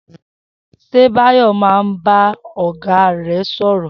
S̩e Báyò̩ máa ń bá ò̩gá rè̩ sò̩rò̩?